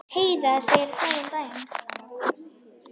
Heiða segir góðan daginn!